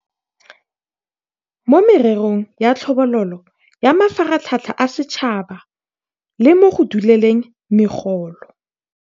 mo mererong ya tlhabololo, ya mafaratlhatlha a setšhaba le mo go dueleleng megolo.